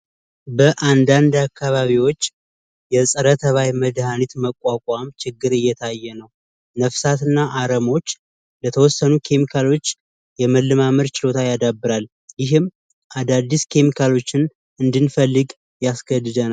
በአንዳንድ አካባቢዎች የጸረ -ተባይ መድኃኒት መቋቋም ችግር እየታየ ነው ነፍሳትና አረምዎች ለተወሰኑ ኬሚካሎች የመለማመድ ችሎታ ያደራል ይህም አዳዲስ ኬሚካሮችን እንድንፈልግ ያስገድደናል።